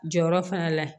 Jɔyɔrɔ fana la yen